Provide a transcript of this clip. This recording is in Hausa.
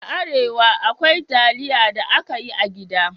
A Arewa, akwai taliya da aka yi a gida